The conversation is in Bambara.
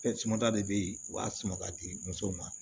Fɛn suma ta de be yen u b'a sun ka di musow ma